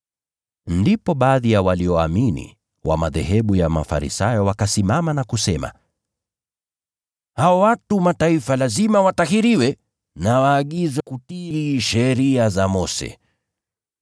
Ndipo baadhi ya walioamini wa madhehebu ya Mafarisayo wakasimama na kusema, “Hao watu wa Mataifa lazima watahiriwe na waagizwe kutii sheria ya Mose.”